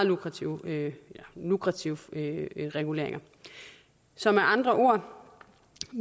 lukrative lukrative reguleringer så med andre ord